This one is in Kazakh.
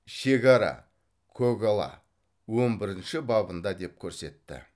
шегара көгала он бірінші бабында деп көрсетті